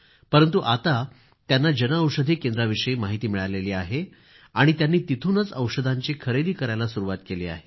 परंतु जनऔषधी केंद्राविषयी माहिती मिळाल्यानंतर त्यांनी तिथूनच औषधांची खरेदी करायला सुरूवात केली आहे